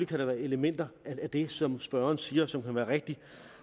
kan der være elementer af det som spørgeren siger som kan være rigtige